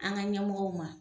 An ga ɲɛmɔw ma